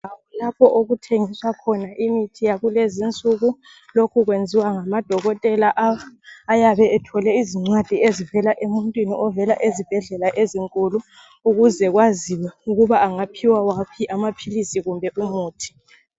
Lapho okuthengiswa khona imithi yakulezi nsuku, lokhu kwenziwa ngamadokotela ayabe ethole izincwadi ezivela emuntwini ovela ezibhedlela ezinkulu ukuze kwaziwe ukuba angaphiwa waphi amaphilizi kumbe umuthi.